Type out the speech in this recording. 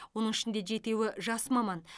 оның ішінде жетеуі жас маман